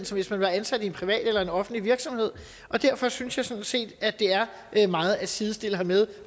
som hvis man var ansat i en privat eller offentlig virksomhed og derfor synes jeg sådan set at det er meget at sidestille med